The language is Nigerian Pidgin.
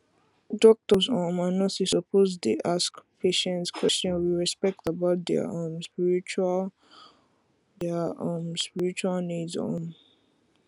doctors um and nurses suppose dey ask patients question with respect about their um spiritual their um spiritual needs um